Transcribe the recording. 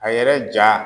A yɛrɛ ja